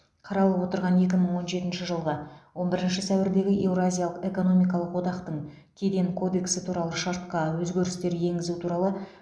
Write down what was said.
қаралып отырған екі мың он жетінші жылғы он бірінші сәуірдегі еуразиялық экономикалық одақтың кеден кодексі туралы шартқа өзгерістер енгізу туралы